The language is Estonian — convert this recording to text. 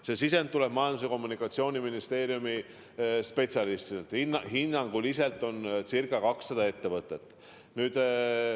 See sisend tuleb Majandus- ja Kommunikatsiooniministeeriumi spetsialistidelt: hinnanguliselt on ca 200 ettevõtet.